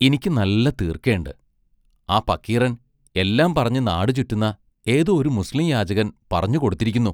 ഇനിക്ക് നല്ല തീർക്കേണ്ട്; ആ പക്കീറൻ എല്ലാം പറഞ്ഞ് നാടു ചുറ്റുന്ന ഏതോ ഒരു മുസ്ലീം യാചകൻ പറഞ്ഞു കൊടുത്തിരിക്കുന്നു.